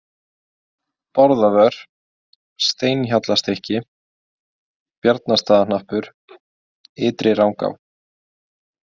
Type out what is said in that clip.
Bárðarvör, Steinhjallastykki, Bjarnastaðahnappur, Ytri-Rangá